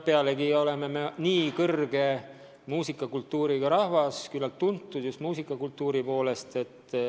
Me oleme väga kõrge muusikakultuuriga rahvas, küllalt tuntud just muusikakultuuri poolest.